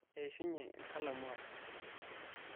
eishunye enkalamu ai